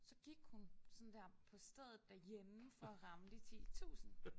Så gik hun sådan der på stedet derhjemme for at ramme de 10000